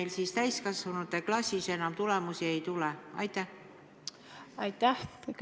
Miks neil täiskasvanute klassis enam tulemusi ei tule?